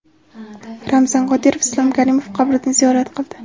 Ramzan Qodirov Islom Karimov qabrini ziyorat qildi.